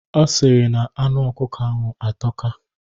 Ọ sịrị na anụ ọkụkọ ahụ atọka.